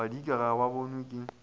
badika ga ba bonwe ke